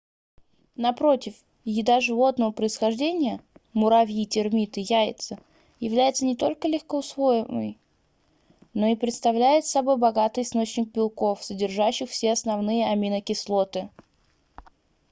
напротив еда животного происхождения муравьи термиты яйца является не только легкоусвояемой но и представляет собой богатый источник белков содержащих все основные аминокислоты